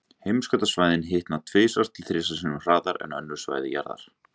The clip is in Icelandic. Heimskautasvæðin hitna tvisvar til þrisvar sinnum hraðar en önnur svæði jarðar.